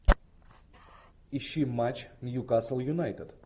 ищи матч ньюкасл юнайтед